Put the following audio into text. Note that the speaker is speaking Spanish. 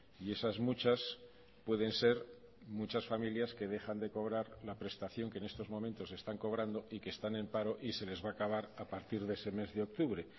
y esas muchas pueden ser muchas familias que dejan de cobrar la prestación que en estos momentos están cobrando y que están en paro y se les va a acabar a partir de ese mes de octubre